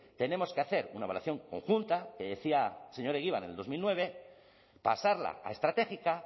tenemos que hacer una evaluación conjunta que decía el señor egibar en el dos mil nueve pasarla a estratégica